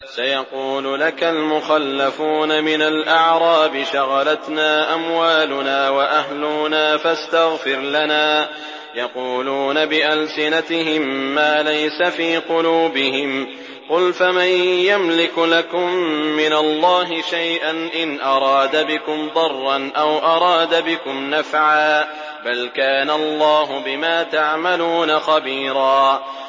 سَيَقُولُ لَكَ الْمُخَلَّفُونَ مِنَ الْأَعْرَابِ شَغَلَتْنَا أَمْوَالُنَا وَأَهْلُونَا فَاسْتَغْفِرْ لَنَا ۚ يَقُولُونَ بِأَلْسِنَتِهِم مَّا لَيْسَ فِي قُلُوبِهِمْ ۚ قُلْ فَمَن يَمْلِكُ لَكُم مِّنَ اللَّهِ شَيْئًا إِنْ أَرَادَ بِكُمْ ضَرًّا أَوْ أَرَادَ بِكُمْ نَفْعًا ۚ بَلْ كَانَ اللَّهُ بِمَا تَعْمَلُونَ خَبِيرًا